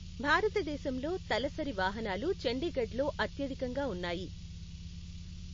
భారతదేశంలో తలసరి వాహనాలు చండీగఢ్లో అత్యధికంగా ఉన్నాయి.